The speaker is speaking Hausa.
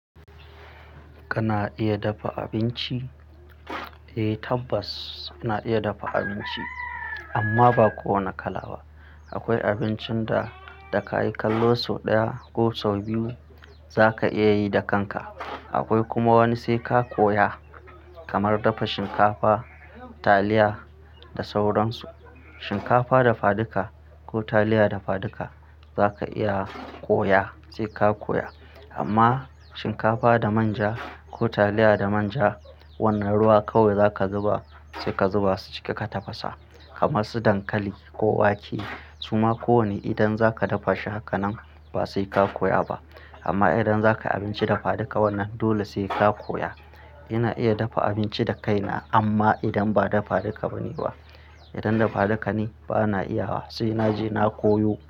Kana iya dafa abinci? Eh tabbas ina iya dafa abinci amma ba kowane kala ba. Akwai abincin da kayi kallon sau ɗaya ko sau biyu zaka iya yi da kanka. Akwai kuma wani sai ka koya kamar dafa shinkafa, taliya da sauran su. Shinkafa dafaduka ko taliya dafaduka zaka iya koya sai ka koya. Amma shinkafa da manja ko taliya da manja wannan ruwa kawai zaka zuba sai ka zuba su ciki ka tafasa. Kamar su dankali ko wake suma ko wane idan zaka dafa shi haka nan ba sai ka koya ba. Amma idan zakayi abinci dafaduka wannan dole sai ka koya. Ina iya dafa abinci da kaina amma idan ba dafaduka bane ba. Idan dafaduka ne bana iya wa sai naje na koyo.